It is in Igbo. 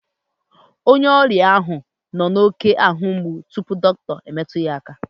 Onye ọrịa ahụ nọ n'oké ahu mgbu tupu dọkịta emetụ ya aka